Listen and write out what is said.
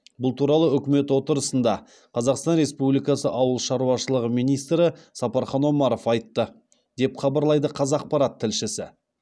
бұл туралы үкімет отырысында қазақстан республикасы ауыл шаруашылығы министрі сапархан омаров айтты деп хабарлайды қазақпарат тілшісі